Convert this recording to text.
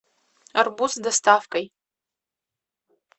арбуз с доставкой